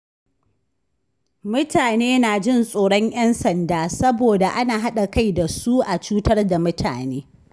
Mutane na jin tsoron ƴan sanda saboda ana haɗa kai da su a cutar da mutane.